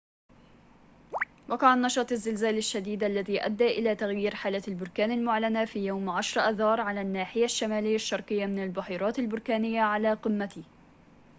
وقع النشاط الزلزالي الشديد الذي أدى إلى تغيير حالة البركان المعلنة في يوم 10 آذار على الناحية الشمالية الشرقية من البحيرات البركانية على قمته